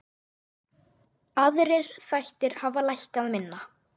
Aðrir þættir hafa lækkað minna.